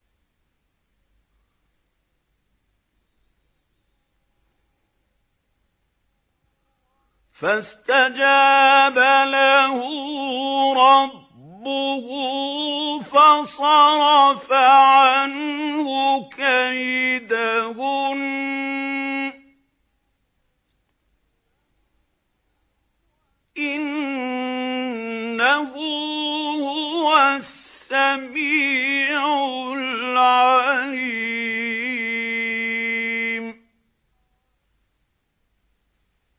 فَاسْتَجَابَ لَهُ رَبُّهُ فَصَرَفَ عَنْهُ كَيْدَهُنَّ ۚ إِنَّهُ هُوَ السَّمِيعُ الْعَلِيمُ